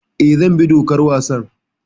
Eh, zan bi dokar wasan.